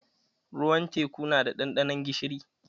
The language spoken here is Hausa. Ruwan teku na da ɗanɗanon gishiri.